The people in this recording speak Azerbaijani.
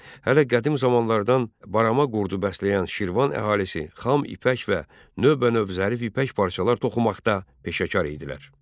Hələ qədim zamanlardan barama qurdu bəsləyən Şirvan əhalisi xam ipək və növbənöv zərif ipək parçalar toxumaqda peşəkar idilər.